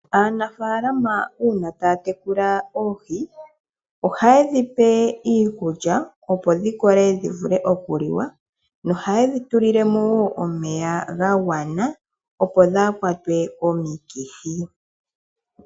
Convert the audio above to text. Aanafalama uuna taya tekula oohi ohaye dhipe iikulya opo dhi kole dhi vule okuliwa nohaye dhi tulilemo wo omeya ga gwana opo dhaakwatwe komikithi.